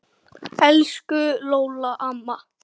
Elsku Lóló amma.